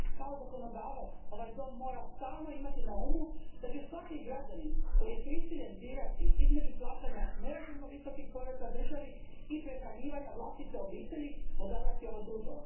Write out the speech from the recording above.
Kao zakonodavac ovaj dom mora imati stalno na umu da će svaki građanin koji je prisiljen birati između plaćanja nerazumno visokih poreza državi i prehranjivanja vlastite obitelji odabrati ovo drugo.